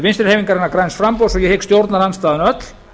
vinstri hreyfingarinnar græns framboðs og ég hygg stjórnarandstaðan öll